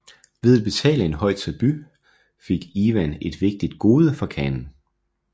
Ved at betale en høj tribut fik Ivan et vigtigt gode fra khanen